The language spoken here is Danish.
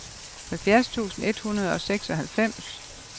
halvfjerds tusind et hundrede og seksoghalvfems